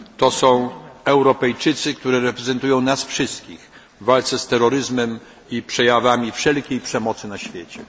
Są to Europejczycy, którzy reprezentują nas wszystkich w walce z terroryzmem i przejawami wszelkiej przemocy na świecie.